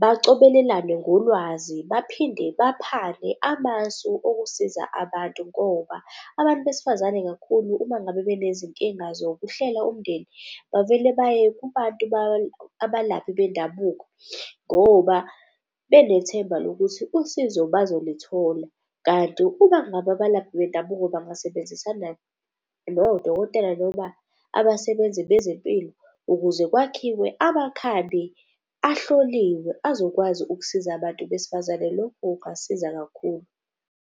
bacobelelane ngolwazi, baphinde baphane amasu okusiza abantu. Ngoba abantu besifazane kakhulu uma ngabe benezinkinga zokuhlela umndeni bavele baye kubantu abalaphi bendabuko ngoba benethemba lokuthi usizo bazolithola. Kanti uma ngabe abalaphi bendabuko bangasebenzisana nodokotela noma abasebenzi bezempilo ukuze kwakhiwe amakhambi ahloliwe azokwazi ukusiza abantu besifazane, lokhu kungasiza kakhulu.